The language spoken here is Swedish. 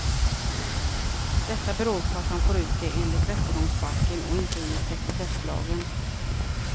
Detta beror på att han får ut det enligt rättegångsbalken och inte enligt sekretesslagen.